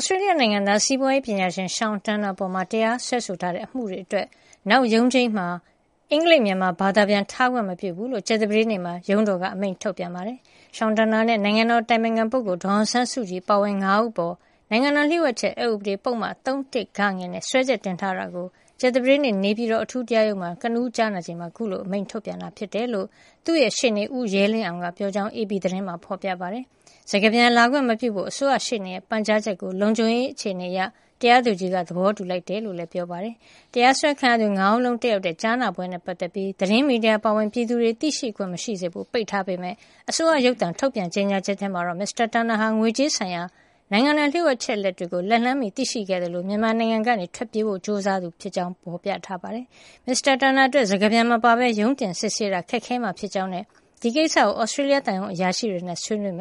စတြေလျနိုင်ငံသား စီးပွါးရေးပညာရှင် Sean Turnell အပေါ်တရားစွဲဆိုထားတဲ့ အမှုတွေ အတွက် နောက်ရုံးချိန်းမှာ အင်္ဂလိပ်- မြန်မာ ဘာသာပြန် ထားခွင့် မပြုကြောင်း ကြာသပတေးနေ့မှာ တရားရုံးတော်က အမိန့်ထုတ်ပြန်ခဲ့ပါတယ်။ Sean Turnell နဲ့ နိုင်ငံတော်အတိုင်ပင်ခံ ဒေါ်အောင်ဆန်းစုကြည်အပါအဝင် ၅ ဦးအပေါ် နိုင်ငံတော် လျှို့ဝှက်ချက် အက်ဥပဒေ ပုဒ်မ ၃-၁ (ဂ) နဲ့ စွဲချက်တင်ထားတာကို ကြာသတေးနေ့က နေပြည်တော် အထူးတရားရုံးမှာ ကနဦးကြားနာခဲ့ချိန်မှာ အခုလိုအမိန့်ထုတ်ပြန်ခဲ့တာ ဖြစ်တယ်လို့ သူ့ရှေ့နေ ဦးရဲလင်းအောင်က ပြောကြောင်း AP သတင်းမှာ ဖေါ်ပြပါတယ်။ စကားပြန်လာခွင့်မပြုဖို့ အစိုးရရှေ့နေရဲ့ ပန်ကြားချက်ကို လုံခြုံရေးအခြေနေအရ တရားသူကြီးက သဘောတူလိုက်တာဖြစ်ကြောင်းလည်း ပြောပါတယ်။ တရားအစွဲဆိုခံရသူ ၅ ဦးစလုံးတက်ရောက်တဲ့ ကြားနာပွဲနဲ့ ပတ်သက်ပြီး သတင်းမီဒီယာအပါအဝင် ပြည်သူသိရှိခွင့်မရှိစေဖို့ ပိတ်ပင်ထားပေမယ့် အစိုးရရုပ်သံက ထုတ်ပြန်တဲ့ ကြေညာချက်မှာတော့ မစ္စတာ Turnell ဟာ ငွေကြေးဆိုင်ရာ နိုင်ငံတော်လျှို့ဝှက်အချက်လက်တွေကို လက်လှမ်းမှီသိရှိခဲ့သလို မြန်မာနိုင်ငံကနေ ထွက်ပြေးဖို့ ကြိုးစားခဲ့ကြောင်း ဖေါ်ပြထားပါတယ်။ မစ္စတာ Turnell အတွက် စကားပြန်မပါပဲ ရုံးတင်စစ်ဆေးတာဟာ ခက်ခဲမှာဖြစ်ကြောင်း နဲ့ ဒီကိစ္စကို သြစတြေးလျသံရုံး အရာရှိတွေနဲ့ ဆွေးနွေးမ